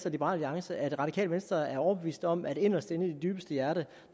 og liberal alliance at det radikale venstre er overbevist om at inderst inde i det dybeste hjerte